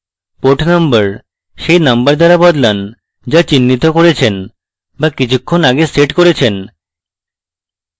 port number set number দ্বারা বদলান যা চিহ্নিত করেছেন বা কিছুক্ষন আগে set করেছেন